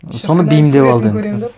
соны бейімдеп алды